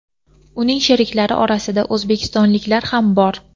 Uning sheriklari orasida o‘zbekistonliklar ham bor.